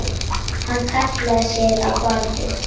Hann hallaði sér á bakið.